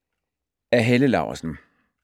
Af Helle Laursen